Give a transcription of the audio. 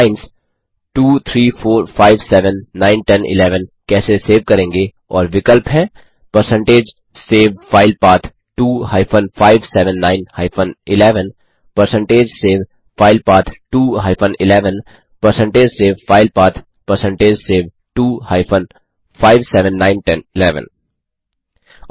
आप लाइंस 2 3 4 5 7 9 10 11 कैसे सेव करेंगे और विकल्प हैं percentage save file path 2 hyphen 5 7 9 hyphen 11परसेंटेज सेव फाइलपैथ 2 हाइफेन 11परसेंटेज save file path percentage save 2 hyphen 5 7 9 10 11